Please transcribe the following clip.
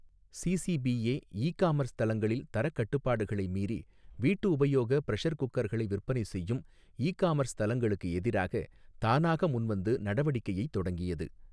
CCPA e commerce தளங்களில் தரக்கட்டுப்பாடுகளை மீறி வீட்டு உபயோக பிரஷர் குக்கர்களை விற்பனை செய்யும் இ காமர்ஸ் தளங்களுக்கு எதிராக தானாக முன்வந்து நடவடிக்கையைத் தொடங்கியது.